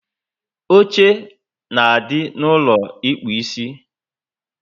Oche na adị n'ulo ịkpụ isi